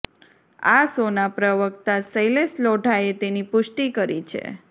આ શોના પ્રવક્તા શૈલેષ લોઢાએ તેની પુષ્ટિ કરી છે